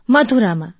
મથુરામાં